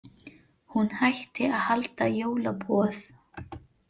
Hún hætti að halda jólaboð.